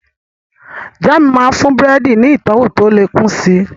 Jáàmù máa ń fún búrẹ́dì ní ìtọ́wọ̀ tó lè kún si